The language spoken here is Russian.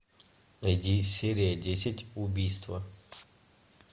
найди серия десять убийство